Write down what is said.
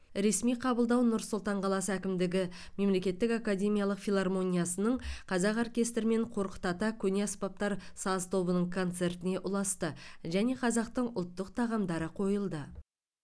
ресми қабылдау нұр сұлтан қаласы әкімдігі мемлекеттік академиялық филармониясының қазақ оркестрі мен қорқыт ата көне аспаптар саз тобының концертіне ұласты және қазақтың ұлттық тағамдары қойылды